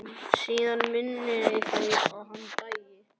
Síðan munaði minnstu að hann dæi.